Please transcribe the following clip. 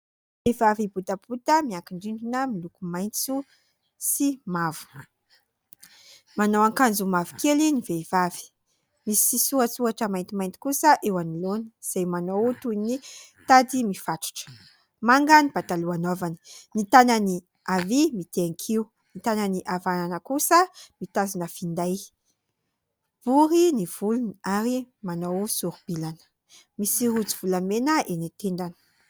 Vehivavy botabota miankin-drindrina miloko maitso sy mavo. Manao akanjo mavokely ny vehivavy misy misorasoratra maintimainty kosa eo anoloana izay manao toy ny tady mifatotra. Manga ny pataloha anaovany. Ny tanany havia mitehan-kiho ; ny tanan'ny havanana kosa mitazona finday. Bory ny volony ary manao sori-bilana. Misy rojo volamena eny an-tendany.